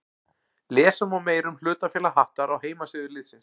Lesa má meira um hlutafélag Hattar á heimasíðu liðsins.